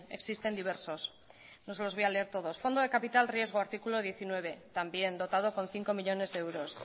existen diversos no se los voy a leer todos fondo de capital riesgo artículo diecinueve también dotado con cinco millónes de euros